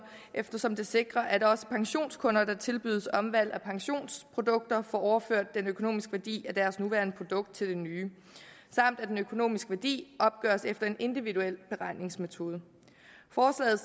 eftersom det sikrer at også pensionskunder der tilbydes omvalg af pensionsprodukter får overført den økonomiske værdi af deres nuværende produkt til det nye samt at den økonomiske værdi opgøres efter en individuel beregningsmetode forslaget